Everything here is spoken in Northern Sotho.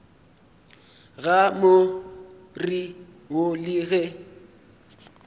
ga more wo le ge